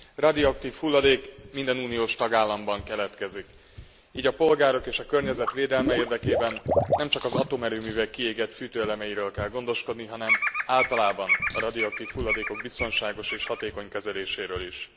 Radioaktív hulladék minden uniós tagállamban keletkezik, így a polgárok és a környezet védelme érdekében nemcsak az atomerőművek kiégett fűtőelemeiről kell gondoskodni, hanem általában a radioaktív hulladékok biztonságos és hatékony kezeléséről is.